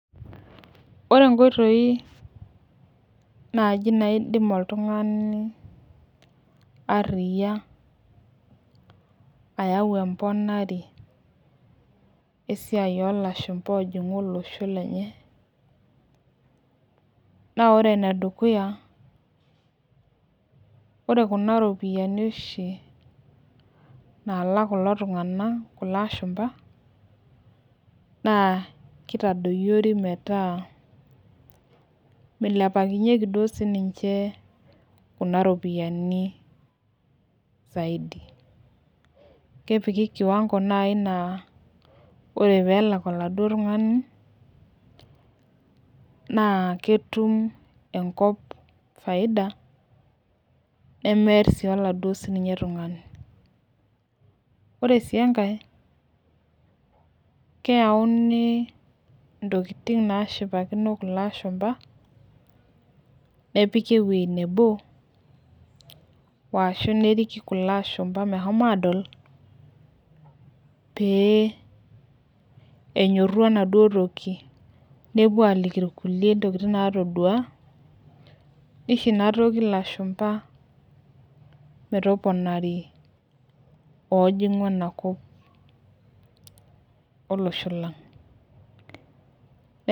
Ore inkoitoi naaji naidim oltung'ani ariya ayau emponare esiai o lashumpa oojing'u olosho, lenye. Naa ore ene dukuya ore kuna ropiani naalak kulo tung'anak, kulo ashumpa naa keitadoyiori metaa meilepakinyeki duo sininche kunaa ropiani zaidi, kepiki kiwango naaji naa ore pee elak oladuo tung'ani, naa ketum enkop faida nemear sininye sii oladuo tung'ani. Ore sii enkai, keyauni intokitin naashiopakino kulo ashumpa nepiki ewueji nabo, ashu neriki kulo ashumpa meshomo adol, pee enyoru enaduo toki, nepuo aliki ilkulie intokitin natodua, neisho ina toki ilashumba metopanari oojing'u enakop olosho lang'.